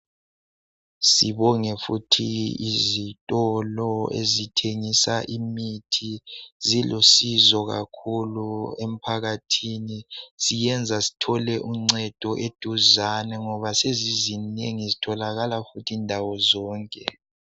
Sibonge futhi izitolo ezithengisa imithi zilusizo kakhulu emphakathini ziyenza sithole uncedo eduzane ngoba sezizinengi zitholakala indawo zonke.